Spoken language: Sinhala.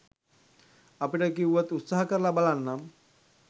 අපිට කියුවොත් උත්සාහ කරලා බලන්නම්.